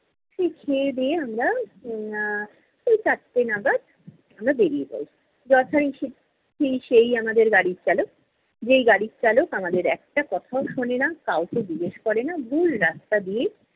সেই খেয়ে দেয়ে আমরা এর এই চারটে নাগাদ আমরা বেরিয়ে যাই। যথা-রী~ রীতি সেই আমাদের গাড়ির চালক, যেই গাড়ির চালক আমাদের একটা কথাও শোনেনা, কাউকে জিজ্ঞেস করে না ভুল রাস্তা দিয়ে